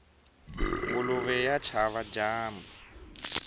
nguluve ya chava dyambu